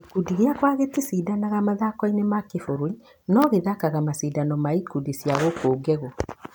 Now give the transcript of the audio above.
Gĩkũndi gĩakwa gĩticindanaga mathakoinĩ ma kĩmabũrũri no gĩthakaga macindano ma ikundi cia gũkũ Ngegũ.